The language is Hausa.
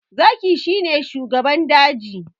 Zaki shi ne shugaban daji